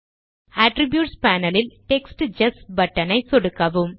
attributes panel ல் text just button ஐ சொடுக்கவும்